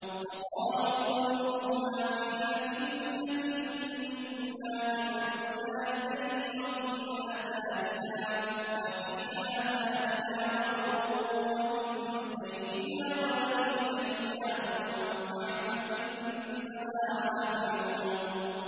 وَقَالُوا قُلُوبُنَا فِي أَكِنَّةٍ مِّمَّا تَدْعُونَا إِلَيْهِ وَفِي آذَانِنَا وَقْرٌ وَمِن بَيْنِنَا وَبَيْنِكَ حِجَابٌ فَاعْمَلْ إِنَّنَا عَامِلُونَ